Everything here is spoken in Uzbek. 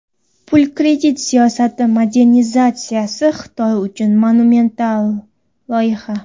Pul-kredit siyosati modernizatsiyasi Xitoy uchun monumental loyiha.